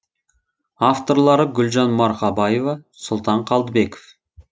авторлары гүлжан марқабаева сұлтан қалдыбеков